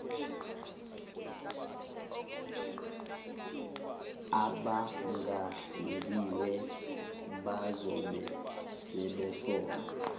abangahlungiwe bazobe sebehlolwa